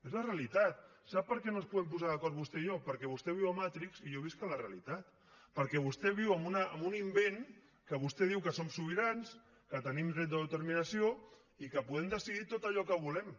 és la realitat sap per què no ens podem posar d’acord vostè i jo perquè vostè viu a matrix i jo visc a la realitat perquè vostè viu en un invent que vostè diu que som sobirans que tenim dret d’autodeterminació i que podem decidir tot allò que volem